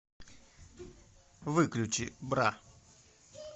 выключи бра